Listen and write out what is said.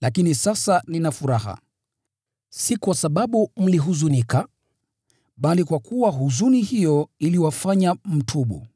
lakini sasa nina furaha, si kwa sababu mlihuzunika, bali kwa kuwa huzuni hiyo iliwafanya mtubu.